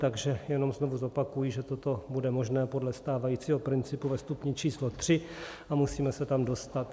Takže jenom znovu zopakuji, že toto bude možné podle stávajícího principu ve stupni číslo 3 a musíme se tam dostat.